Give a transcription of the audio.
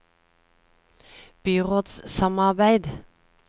byrådssamarbeid